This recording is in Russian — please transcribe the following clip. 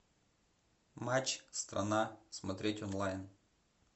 матч страна смотреть онлайн